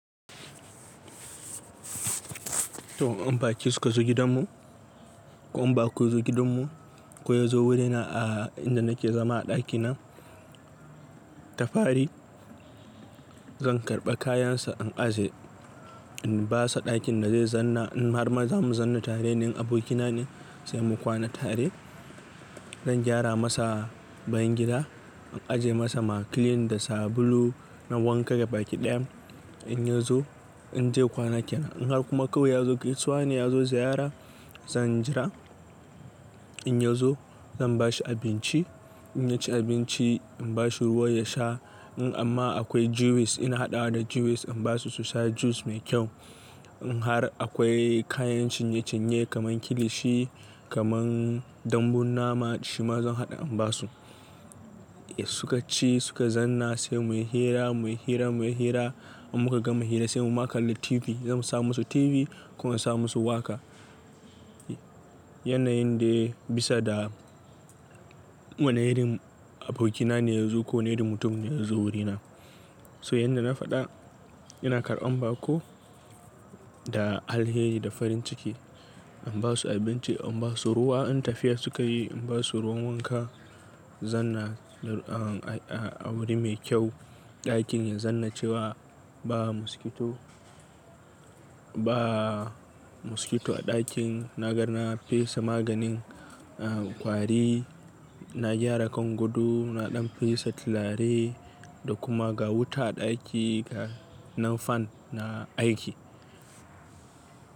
To, in baki suka zo gidanmu ko in ba ku zo gidanmu ko ya zo wurina a inda nake zama a ɗakina. Ta fari zan karɓa kayansa in ajiye. In ba sa ɗakin da zai zanna in har ma za mu zanna tare. In abokina ne sai mu kwana tare. Zan gyara masa bayan gida in ajiye masa ma clean da sabulu na wanka gabaki ɗaya in ya zo in zai kwana kenan. In har kuma kawai ya zo, gaisuwa ne ya zo ziyara zan jira in ya zo zan bashi abinci in ya ci abinci in bashi ruwa ya sha. In amma akwai juice ina haɗawa da juice in basu su sha juice mai kyau. In har akwai kayan cinye-cinye kaman kilishi kaman dambun nama shi ma zan haɗa in basu. Suka ci suka zanna sai muyi hira, muyi hira, muyi hira in muka gama hira sai mu ma kalla TV zamu sa musu TV ko in sa mu su waka. Yana yin dai bisa da wane irin abokina ne ya zo ko wane irin mutum ne ya zo wurina. To yanda na faɗa ina karɓan baƙo da alheri da farin ciki in basu abinci in basu ruwa. In tafiya suka yi in basu ruwan wanka. Zanna a wuri mai kyau ɗakin ya zanna cewa ba mosquito, ba mosquito a ɗakin. Na garnar na fesa maganin kwari. Na gyara kan goɗo na ɗan fesa tilare da kuma ga wuta a ɗaki ga nan fan na aiki.